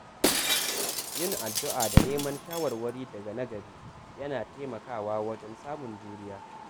Yin addu’a da neman shawarwari daga na gari yana taimakawa wajen samun juriya.